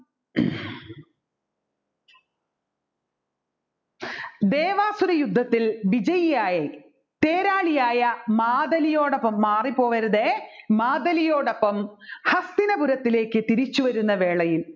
ദേവസരയുദ്ധത്തിൽ വിജയമായി തേരാളിയായ മാതലിയോടൊപ്പം മാറിപോവരുതേ മാതലിയോടൊപ്പം ഹസ്തിനപുരത്തിലേക്ക് തിരിച്ച് വരുന്ന വേളയിൽ